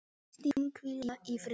Megi Kristín hvíla í friði.